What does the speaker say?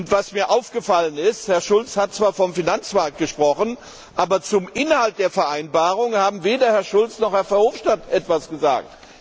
Was mir aufgefallen ist Herr Schulz hat zwar vom Finanzmarkt gesprochen, aber zum Inhalt der Vereinbarung haben weder Herr Schulz noch Herr Verhofstadt etwas gesagt.